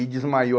E desmaiou.